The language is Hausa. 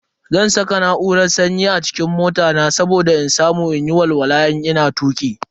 Zan saka na'urar sanyi a cikin mota na saboda in samu in yi walwala idan ina tuki.